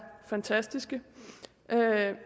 fantastiske